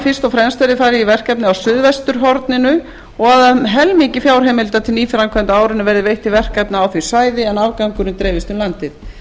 og fremst verði farið í verkefni á suðvesturhorninu og að um helmingi fjárheimilda á árinu verði veitt til verkefna á því svæði en afgangurinn dreifist um landið